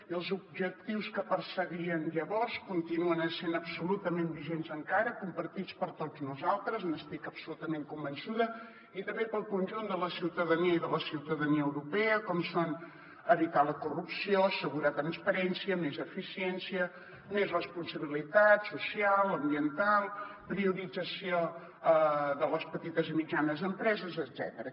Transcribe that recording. i els objectius que perseguien llavors continuen essent absolutament vigents encara compartits per tots nosaltres n’estic absolutament convençuda i també pel conjunt de la ciutadania i de la ciutadania europea com són evitar la corrupció assegurar transparència més eficiència més responsabilitat social ambiental priorització de les petites i mitjanes empreses etcètera